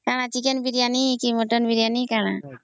Chicken Biriyani କି mutton Biriyani କଣ